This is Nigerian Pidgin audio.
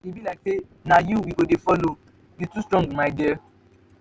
e be like say na you we go dey follow you too strong my dear.